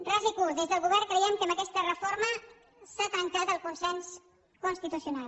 ras i curt des del govern creiem que amb aquesta reforma s’ha trencat el consens constitucional